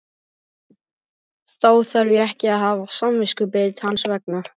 Þá þarf ég ekki að hafa samviskubit hans vegna?